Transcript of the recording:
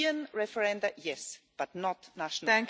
European referendums, yes, but not national.